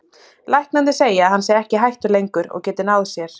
Læknarnir segja að hann sé ekki í hættu lengur og geti náð sér